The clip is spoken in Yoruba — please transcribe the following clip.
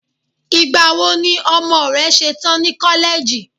igbawo ni ọmọ rẹ ṣetan ni koleji